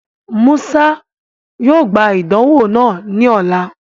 Musa yoo gba idanwo naa ni ọla.